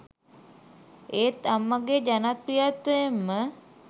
ඒත් අම්මගේ ජනප්‍රිත්වයෙන්ම